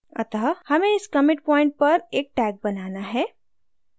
अतः हमें इस commit point पर एक tag बनाना है